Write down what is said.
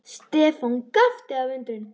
Stefán gapti af undrun.